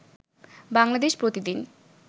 বাংলাদেশ প্রতি দিন